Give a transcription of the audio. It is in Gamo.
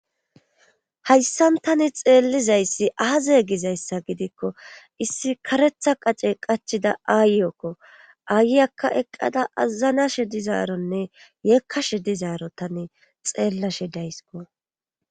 hayssan tani xeellizayssi aazee gizayssa gidikko issi karetha qace qachida aayekko aayyakka eqqada aazanashe dizaaronne yeekkashe dizaaro tane xeellashe daysiko